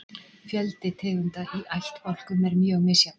fjöldi tegunda í ættbálkum er mjög misjafn